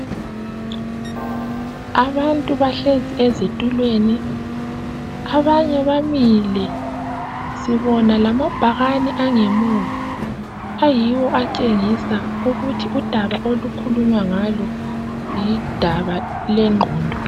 Abantu bahlezi ezithulweni abanye bamile sibona ngamabhakane angemuva ayiwo atshengisa ukuthi udaba olukhulunya ngayo yidaba lengqondo